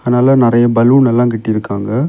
அதனால நறைய பலூன் எல்லா கட்டிருக்காங்க.